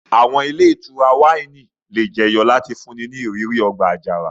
Àwọn ile itura wáìnì le jeyo lati funni ni àwọn iriri ọgba-ajara to kun kẹ́kẹ́.